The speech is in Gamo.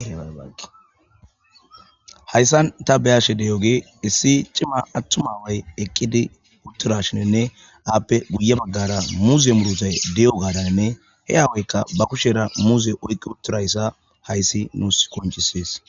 Hayssan ta beyashe deyoge issi cima attuma way eqqidi uttura shininne aappe guye baggara muuze murutay de7o gaadanne he aawoykka ba kushera muuze oyqqi uttirayssa hayssi nuus koncisees